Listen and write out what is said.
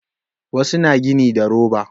Wasu na gini da roba